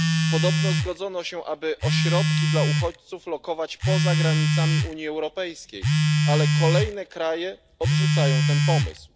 Podobno zgodzono się, aby ośrodki dla uchodźców umieszczać poza granicami Unii Europejskiej, ale kolejne kraje odrzucają ten pomysł.